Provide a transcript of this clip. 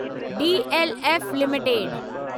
DLF limited